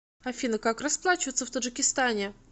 афина как расплачиваться в таджикистане